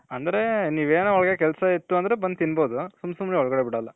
ಅಂದ್ರೆ ನೀವು ಏನಾದ್ರೂ ಒಳಗೆ ಕೆಲ್ಸ ಇತ್ತು ಅಂದ್ರೆ ಬಂದು ತಿನ್ಬೋದು. ಸುಮ್ ಸುಮ್ನೆ ಒಳಗಡೆ ಬಿಡಲ್ಲ.